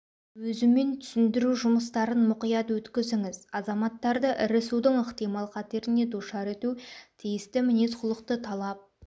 өзімен түсіндіру жұмыстарын мұқият өткізіңіз азаматтарды ірі судың ықтимал қатеріне душар ету тиісті мінез-құлықты талап